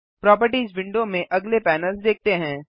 properties window में अगले panels देखते हैं